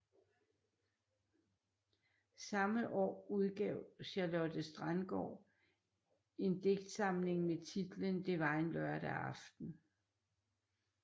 Samme år udgav Charlotte Standgaard en digtsamling med titlen Det var en lørdag aften